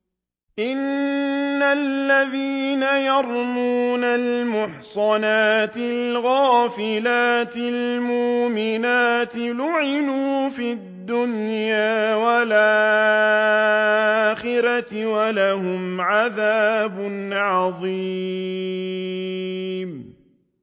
إِنَّ الَّذِينَ يَرْمُونَ الْمُحْصَنَاتِ الْغَافِلَاتِ الْمُؤْمِنَاتِ لُعِنُوا فِي الدُّنْيَا وَالْآخِرَةِ وَلَهُمْ عَذَابٌ عَظِيمٌ